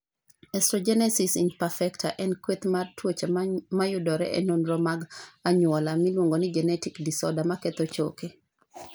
Osteogenesis imperfecta (OI) en kweth mar tuoche mayudore e nonro mag anyuola (genetic disorders) maketho choke.